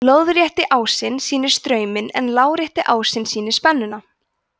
lóðrétti ásinn sýnir strauminn en lárétti ásinn sýnir spennuna